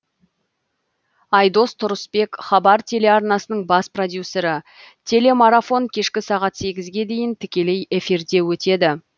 айдос тұрысбек хабар телеарнасының бас продюсері телемарафон кешкі сағат сегізге дейін тікелей эфирде өтеді